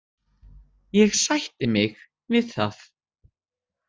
Ég sætti mig við það.